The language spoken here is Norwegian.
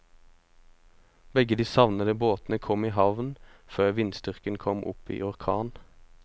Begge de savnede båtene kom i havn før vindstyrken kom opp i orkan.